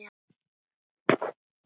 Margir hafi sýnt áhuga.